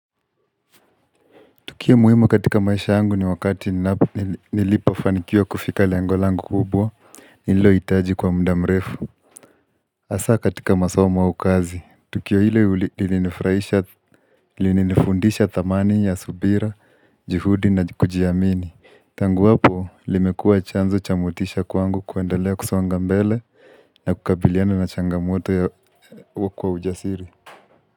Tukio muhimu katika maisha yangu ni wakati nilipofanikiwa kufika lengo langu kubwa, nililo hitaji kwa muda mrefu. Hasa katika masomo au kazi, tukio hile lilinifundisha dhamani ya subira, juhudi na kujiamini. Tangu hapo, limekua chanzo cha motisha kwangu kuendelea kusonga mbele na kukabiliana na changamoto ya kwa ujasiri.